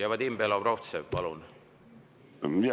Vadim Belobrovtsev, palun!